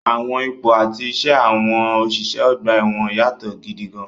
Àwọn ipò àti iṣẹ́ àwọn òṣìṣẹ́ ọgbà ẹ̀wọ̀n yàtọ̀ gidi gan-an.